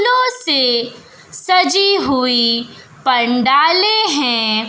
लो से सजी हुई पंडाले हैं।